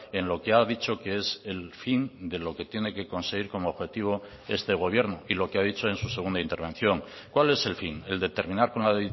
en lo que ha dicho que es el fin de lo que tiene que conseguir como objetivo este gobierno y lo que ha dicho en su segunda intervención cuál es el fin el de terminar con la